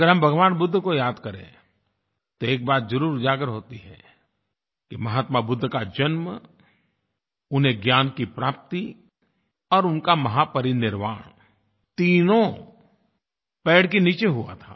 अगर हम भगवान् बुद्ध को याद करें तो एक बात ज़रूर उजागर होती है कि महात्मा बुद्ध का जन्म उन्हें ज्ञान की प्राप्ति और उनका महापरिनिर्वाण तीनों पेड़ के नीचे हुआ था